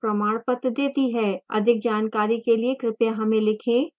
अधिक जानकारी के लिए कृपया हमें लिखें